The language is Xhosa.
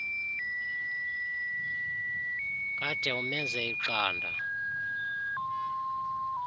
kade umenze iqanda